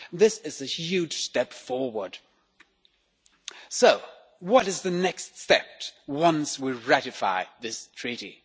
This is a huge step forward. What is the next step once we ratify this treaty?